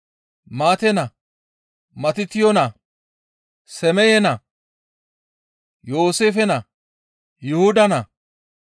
Maate naa, Matotiyo naa, Semeye naa, Yooseefe naa, Yuhuda naa,